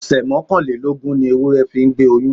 Ọ̀sẹ̀ mọ́kànlélógún ni ewúrẹ́ fi ń gbé oyún.